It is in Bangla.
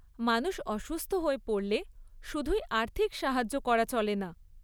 মানুষ অসুস্থ হয়ে পড়লে শুধুই আর্থিক সাহায্য করা চলে না।